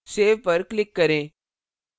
save पर click करें